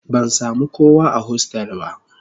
Ban sami kowa a hostel ba